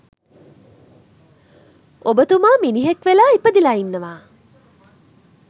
ඔබ තුමා මිනිහෙක් වෙලා ඉපදිලා ඉන්නවා.